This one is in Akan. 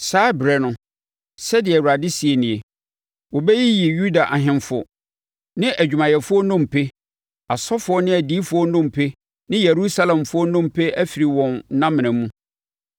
“ ‘Saa ɛberɛ no, sɛdeɛ Awurade seɛ nie, wɔbɛyiyi Yuda ahemfo ne adwumayɛfoɔ nnompe, asɔfoɔ ne adiyifoɔ nnompe ne Yerusalemfoɔ nnompe afiri wɔn nnamena mu.